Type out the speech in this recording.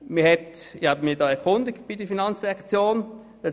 Ich habe mich bei der Finanzdirektion erkundigt.